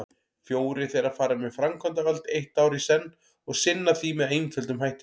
Fjórir þeirra fara með framkvæmdavald eitt ár í senn og sinna því með einföldum hætti.